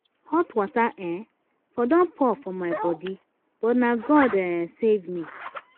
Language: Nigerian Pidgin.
hot water um for don pour for my body but na god um save me.